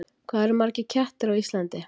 Hvað eru margir kettir á Íslandi?